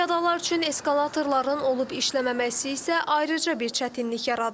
Piyadalar üçün eskalatorların olub işləməməsi isə ayrıca bir çətinlik yaradır.